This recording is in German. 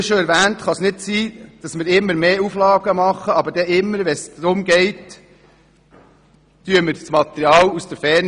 Wie schon erwähnt, kann es nicht sein, dass wir immer mehr Auflagen machen, aber wenn es um die Realisierung von Bauten geht, beziehen wir das Material aus der Ferne.